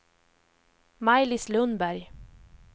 Maj-Lis Lundberg